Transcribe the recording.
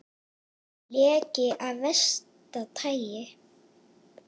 Leki af versta tagi